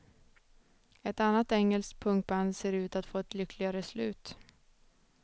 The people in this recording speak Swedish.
Ett annat engelskt punkband ser ut att få ett lyckligare slut.